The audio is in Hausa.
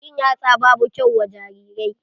Cin yatsa babu kyau wa jarirai.